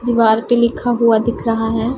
दीवार पे लिखा हुआ दिख रहा है।